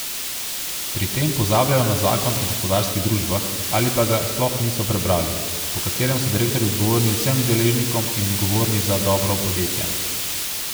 Pri tem pozabljajo na zakon o gospodarskih družbah, ali pa ga sploh niso prebrali, po katerem so direktorji odgovorni vsem deležnikom in odgovorni za dobro podjetja.